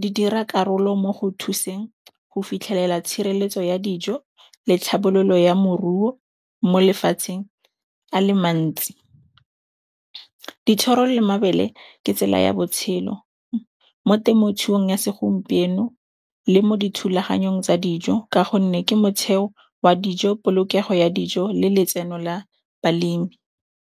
Di dira karolo mo go thuseng go fitlhelela tshireletso ya dijo le tlhabololo ya moruo mo lefatsheng a le mantsi. Dithoro le mabele ke tsela ya botshelo mo temothuong ya segompieno le mo dithulaganyong tsa dijo ka gonne ke motheo wa dijo, polokego ya dijo le letseno la balemi.